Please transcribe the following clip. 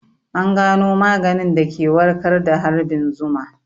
An gano maganin da ke warkar da harbin zuma